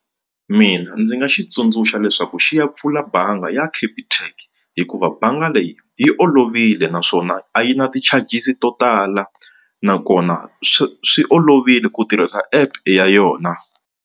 Mina ndzi nga xi tsundzuxa leswaku xi ya pfula bangi ya Capitec hikuva bangi leyi yi olovile naswona a yi na ti-charges to tala nakona swi swi olovile ku tirhisa app ya yona.